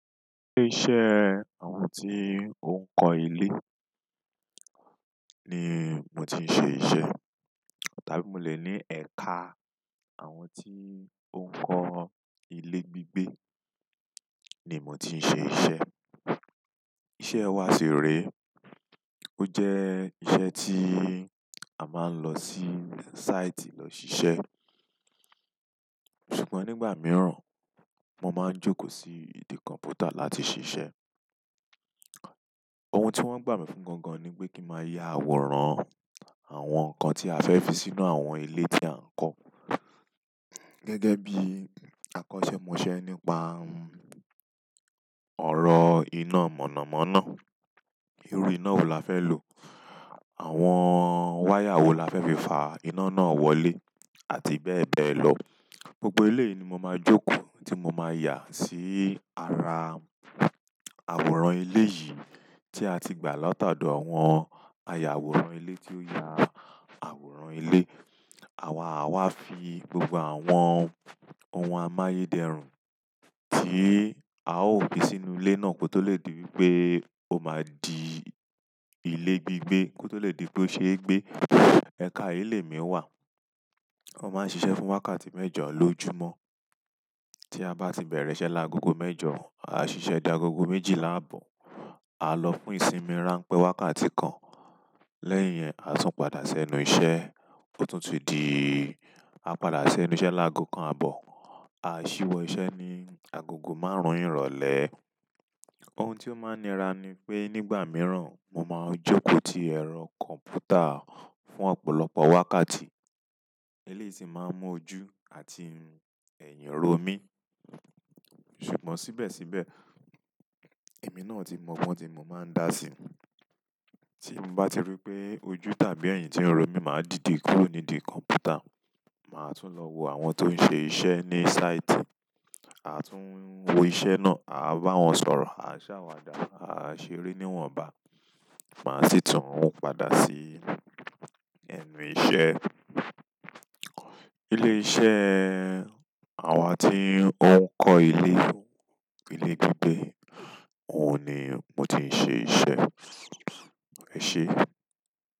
Ilé iṣẹ́ àwọn tí ó ń kọ́ ilé ni mo ti ń ṣe iṣẹ́. Tàbí mo lè ní ẹ̀ka àwọn tí ó ń kọ́ ilé gbígbé ni mo ti ń ṣe iṣẹ́. Iṣẹ́ wa sì rè. Ó jẹ́ iṣẹ́ tí a máa ń lọ sí sáìtì lọ ṣiṣẹ́. Ṣùgbọ́n nígbà mìíràn, mo máa ń jókòó sí ìdí kọ̀mpútà láti ṣiṣẹ́. Ohun tí wọ́n gbà mí fún gangan ni pé kí máa ya àwòrán àwọn nǹkan tí a fẹ́ fi sínú àwọn ilé tí à ń kọ́. Gẹ́gẹ́ bí àkọsẹ́ mo ṣẹ nípa ọ̀rọ̀ iná mọ̀nàmọ́ná. Irú iná wo la fẹ́ lò? Àwọn wáyà wo la fẹ́ fi fà iná náà wọlé? Àti bẹ́ẹ̀ bẹ́ẹ̀ lọ. Gbogbo ilé ni mo máa jókòó tí mo máa yà sí ara àwòrán ilé yìí tí a ti gbà látọ̀dọ̀ àwọn ayàwòrán ilé tí ó ya àwòrán ilé. Àwáà wa fi gbogbo àwọn ohun amáyé dẹrùn tí a ó gbé sínú ilé náà kó tó lè di wípé ó máa di ilé gbígbé kó tó lè di pé ó ṣe é gbé. Ẹka yìí lè mi wà. Wọ́n máa ń ṣiṣẹ́ fún wákàtí mẹ́jọ lọjúmọ́. Tí a bá ti bẹ̀rẹ̀ iṣẹ́ lágogo mẹ́jọ, a ṣiṣẹ́ dé agogo méjìlá àbọ̀. A lọ fún ìsinmi ránpẹ́ wákàtí kan. Lẹ́yìn yẹn, à á tún padà sẹ́nu iṣẹ́. Ó tún ti di, a padà sẹ́nu iṣẹ́ lágo kan àbọ̀. A ṣíwọ́ iṣẹ́ ní agogo márùn-ún ìrọ̀lẹ́. Ohun tí ó máa nira ni pé nígbà mìíràn mo máa ń jókòó ti ẹ̀rọ kọ̀mpútà fún ọ̀pọ̀lọpọ̀ wákàtí. Eléyìí sì máa ń mú ojú àti ẹ̀hìn ro mí. Ṣùgbọ́n síbẹ̀síbẹ̀, èmi náà ti mọ bọ́n tí mo máa ń dà síi. Tí mo bá ti rí pé ojú tàbí ẹ̀yin ti ń ro mí, màá dìde kúrò nídìí kọ̀mpútà. Màá tún lọ wo àwọn tó ń ṣe iṣẹ́ ní sáìtì. A tún wo iṣẹ́ náà, a bá wọn sọ̀rọ̀, a ṣàwàdà, a ṣeré níwọ̀nba, màá sì tún padà sí ẹnu iṣẹ́. Ilé iṣẹ́ àwọn tí ó ń kọ́ ilé, ilé gbígbé, òun ni mo ti ń ṣe iṣẹ́. Ẹ ṣé?